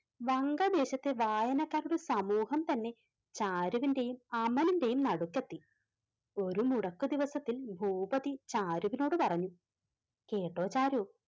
വങ്ക ദേശത്തെ വായനക്കാരുടെ സമൂഹം തന്നെ ചാരുവിന്റെയും അമലിന്റെയും നടുക്കെത്തി. ഒരു മുടക്ക് ദിവസത്തിൽ ഭൂപതി ചാരുവിനോട് പറഞ്ഞു കേട്ടോ ചാരു,